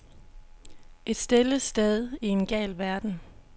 Et stille sted i en gal verden.